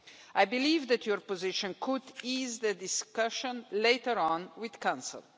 I believe that your position could ease the discussion later on with the Council.